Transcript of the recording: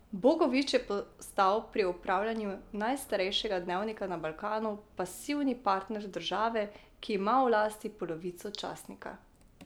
Bogović je postal pri upravljanju najstarejšega dnevnika na Balkanu, pasivni partner države, ki ima v lasti polovico časnika.